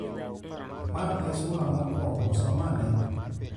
Ma e sula mokwongo. Som ane.